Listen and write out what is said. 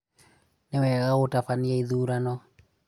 Nĩ wega gũtabania ithurano?